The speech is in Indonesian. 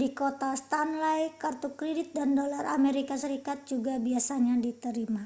di kota stanley kartu kredit dan dolar amerika serikat juga biasanya diterima